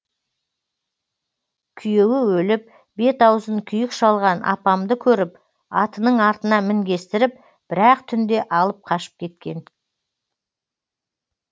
күйеуі өліп бет аузын күйік шалған апамды көріп атының артына мінгестіріп бір ақ түнде алып қашып кеткен